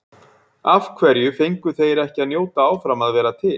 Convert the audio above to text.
Af hverju fengu þeir ekki að njóta áfram að vera til?